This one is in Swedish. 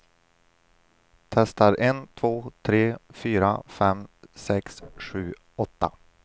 Testar en två tre fyra fem sex sju åtta.